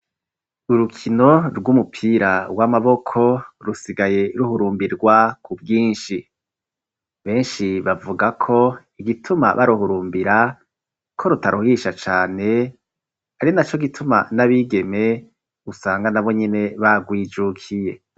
Urukino rw'umupira w'amaboko rusigaye ruhurumbirwa ku bwinshi. Benshi bavuga ko igituma baruhurumbira ko rutaruhisha cane ari na co gituma n'abigeme usanga na bonyene bagwijukiye.